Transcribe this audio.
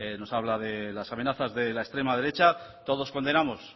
nos habla de las amenazas de la extrema derecha todos condenamos